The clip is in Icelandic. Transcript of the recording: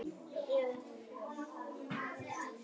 oft er þó sókn besta vörnin